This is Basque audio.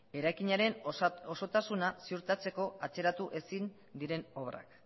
eraikinaren osotasuna ziurtatzeko atzeratu ezin diren obrak